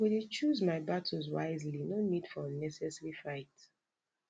i go dey choose my battles wisely no need for unnecessary fight